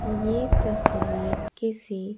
ये तस्वीर किसी--